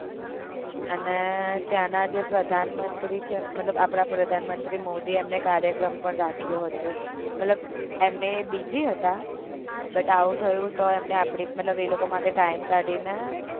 અને ત્યાં ના જે પ્રધાન મંત્રી છે મતલબ આપદા પ્રધાન મંત્રી મોદી એમને કાર્યક્રમ પણ રાખ્યો હતો મતલબ એમને busy હતા but આવું થયું તો એમને આપડી મતલબ એ લોકો માટે time કાઢીને